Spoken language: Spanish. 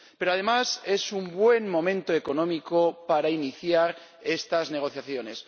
Pero, además, es un buen momento económico para iniciar estas negociaciones.